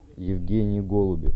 евгений голубев